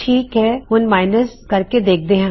ਠੀਕ ਹੈ ਹੁਣ ਘਟਾ ਕੇ ਮਾਇਨਸ ਦੇਖਦੇ ਹਾਂ